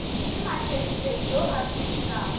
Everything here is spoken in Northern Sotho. ke mathedithedi yo a sepelago